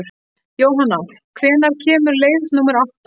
Jóhanna, hvenær kemur leið númer átta?